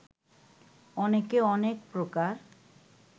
অনেকে অনেক প্রকার